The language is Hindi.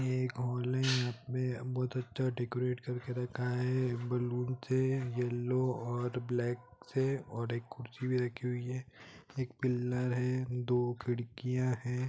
ये एक हॉल है यहाँ पे बहुत अच्छा डेकोरेट करके रखा है बलून से येलो और ब्लैक से और एक कुर्सी भी रखी हुई है एक पिलर है दो खिड़कियाँ है।